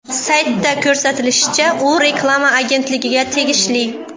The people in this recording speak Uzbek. Saytda ko‘rsatilishicha, u reklama agentligiga tegishli.